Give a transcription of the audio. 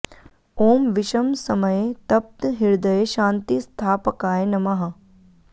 ॐ विषम समये तप्त हृदये शान्ति स्थापकाय नमः